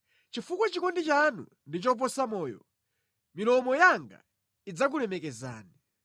Chifukwa chikondi chanu ndi choposa moyo, milomo yanga idzakulemekezani.